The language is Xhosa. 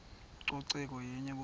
ucoceko yenye kuphela